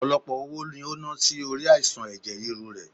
Ọpọlọpọ owó ni o na si ori aisan ẹ̀jẹ̀ ríru rẹ